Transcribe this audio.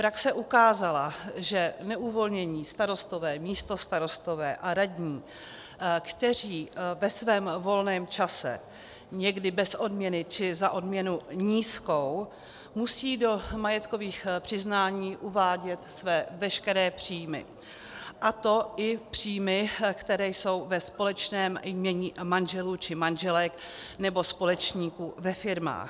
Praxe ukázala, že neuvolnění starostové, místostarostové a radní, kteří ve svém volném čase, někdy bez odměny či za odměnu nízkou, musí do majetkových přiznání uvádět své veškeré příjmy, a to i příjmy, které jsou ve společném jmění manželů či manželek nebo společníků ve firmách.